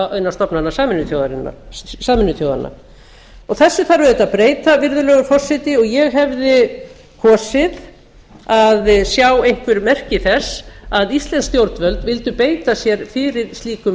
innan stofnana sameinuðu þjóðanna þessu þarf auðvitað að breyta virðulegur forseti og ég hefði kosið að sjá einhver merki þess að íslensk stjórn völd vildu beita sér fyrir slíkum